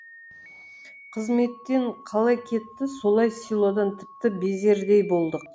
қызметтен қалай кетті солай селодан тіпті безердей болдық